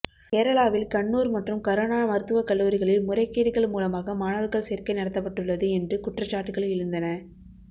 கேரளாவில் கண்ணூர் மற்றும் கருணா மருத்துவ கல்லூரிகளில் முறைகேடுகள் மூலமாக மாணவர்கள் சேர்க்கை நடத்தப்பட்டுள்ளது என்று குற்றச்சாட்டுகள் எழுந்தன